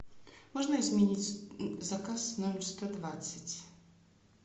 можно изменить заказ номер сто двадцать